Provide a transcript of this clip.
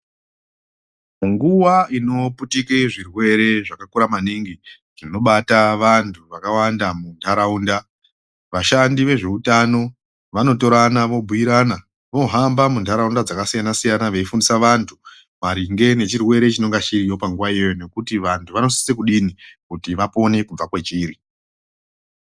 Nguva inoputike zvirwere zvakakura maningi zvinobata vantu vakawanda muntaraunda. Vashandi vezveutano vanotorana vombuirana vohamba munharaunda dzakasiyana-siyana, veifundisa vantu maringe nechirwere chinonga chiriyo panguva iyoyoyo nekuti vantu vanosise kudini kuti vapone kubva kwachiri.